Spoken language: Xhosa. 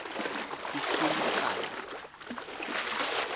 ecumakala